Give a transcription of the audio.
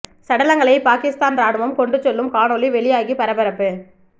சடலங்களை பாகிஸ்தான் இராணுவம் கொண்டு செல்லும் காணொளி வெளியாகி பரபரப்பு